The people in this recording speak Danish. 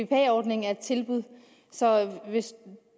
bpa ordningen er et tilbud så hvis